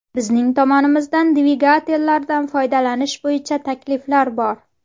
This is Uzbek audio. Bizning tomonimizdan dvigatellardan foydalanish bo‘yicha takliflar bor.